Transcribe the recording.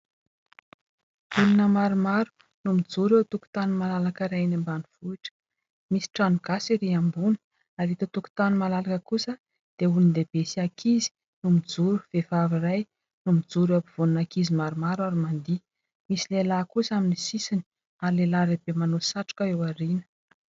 Olona maromaro no mijoro eo an-tokotany malalaka iray eny ambanivohitra, misy trano gasy erỳ ambony ary eto an-tokotany malalaka kosa dia olon-dehibe sy ankizy no mijoro. Vehivavy iray no mijoro eo ampovoan'ny ankizy maromaro ary mandihy ; misy lehilahy kosa amin'ny sisiny ary lehilahy lehibe manao satroka eo aoriana.